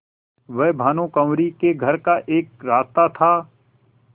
वह भानुकुँवरि के घर का एक रास्ता था